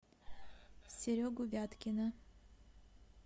серегу вяткина